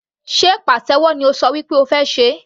Sé pàtẹ́wọ́ ni o ṣọ wí pé o fẹ́ ṣe?.